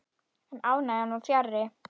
En ánægjan var fjarri.